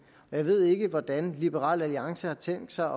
og jeg ved ikke hvordan liberal alliance har tænkt sig